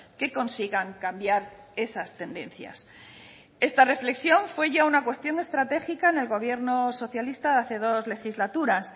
que consigan cambiar esas tendencias esta reflexión fue ya una cuestión estratégica en el gobierno socialista hace dos legislaturas